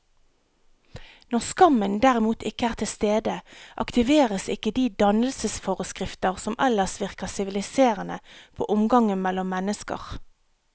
Når skammen derimot ikke er til stede, aktiveres ikke de dannelsesforskrifter som ellers virker siviliserende på omgangen mellom mennesker.